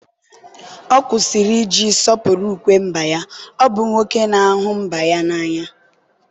ọ kwụsịrị iji sọpụrụ ukwe mba ya, ọ bụ nwoke na-ahụ mba n'anya.